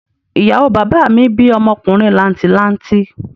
Ìyàwó bàbá mi bí ọmọkùnrin làǹtì lanti